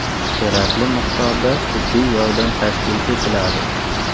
Kerakli miqdorda tibbiy yordam tashkil etiladi.